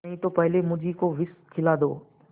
नहीं तो पहले मुझी को विष खिला दो